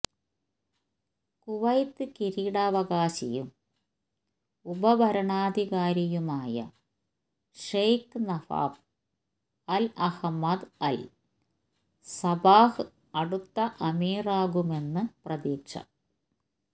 Kuwait കിരീടാവകാശിയും ഉപ ഭരണാധികാരിയുമായ Sheikh Nawaf al Ahmad al Sabah അടുത്ത അമീറാകുമെന്ന് പ്രതീക്ഷ